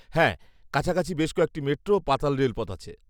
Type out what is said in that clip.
হ্যাঁ, কাছাকাছি বেশ কয়েকটি মেট্রো ও পাতাল রেলপথ আছে।